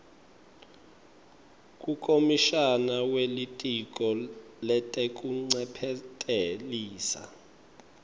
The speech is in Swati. kukomishana welitiko letekuncephetelisa